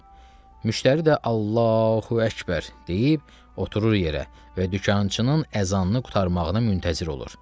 Müştəri də "Allahu əkbər" deyib oturur yerə və dükançının azanını qurtarmağını müntəzir olur.